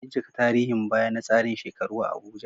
Bincika tarihin baya na tsarin shekaru a Abuja